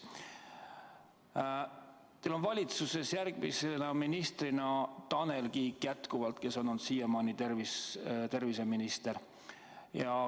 Ka teie valitsuses jätkab Tanel Kiik, kes on olnud siiamaani terviseminister.